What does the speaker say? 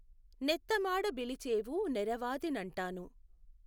నెత్తమాడ బిలిచేవు నెఱవాది నంటాను